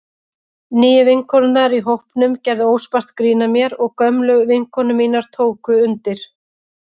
Nýju vinkonurnar í hópnum gerðu óspart grín að mér og gömlu vinkonur mínar tóku undir.